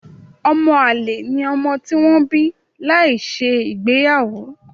Ọmọ-àlè ni ọmọ tí wọ́n bí láìsí ìgbéyàwó.